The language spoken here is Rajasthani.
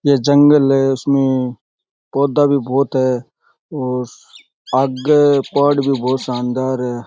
ये जंगल है इसमें पौधा भी बहुत है और आगे पहाड़ भी बहुत शानदार है।